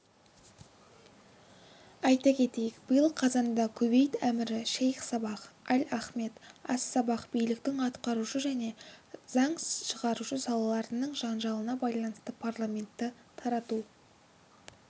айта кетейік биыл қазанда кувейт әмірі шейх сабах аль ахмед ас-сабах биліктің атқарушы және заң шығарушы салаларының жанжалына байланысты парламентті тарату